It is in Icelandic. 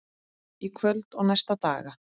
Í kvöld og næstu daga?